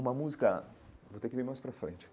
Uma música... Vou ter que vir mais pra frente, ok?